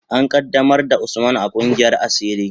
An qaddamar da Usman a kungiyar asiri.